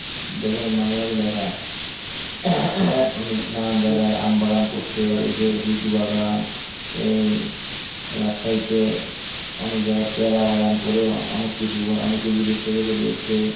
দেখুন মাঝে মাঝে দেখা হয়। অমনি নানান জায়গায় আমবাগান করছে এই যে লিচু বাগান, এই রাজশাহী তে অনেক জায়গায় পেয়ারা বাগান করে অনেকে বিদেশ টিদেশ ও দিয়ে এসেছে।